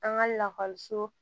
An ka lakɔliso